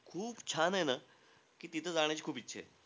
खूप छान आहे ना की, तिथं जाण्याची खूप इच्छा आहे.